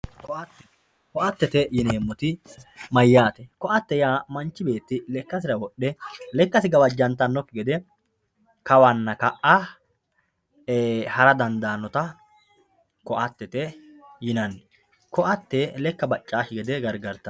ko"atte ko"attete yineemmoti ko"atte yaa manchi beetti lekkasira wodhe lekkasi gawajjantannokki gede kawanna ka"a hara dandaannota ko"attete yinanni ko"atte lekka baccawookki gede gargartanno